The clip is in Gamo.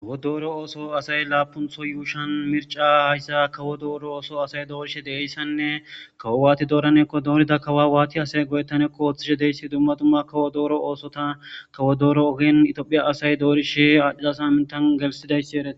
Kawo dooro ooso asay laapuntho yuushan mirca hayssa kawo dooro ooso asay doorishe deeyissanne kawo waati dooranekko doorida kawa waati asay go7ettanekko ooththishe deessi dumma dumma kawo dooro oosota kawo dooro ogin itoophiya asay doorishe aadhiada samintan gelsidayssi ereetes